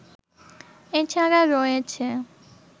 এ ছাড়া রয়েছে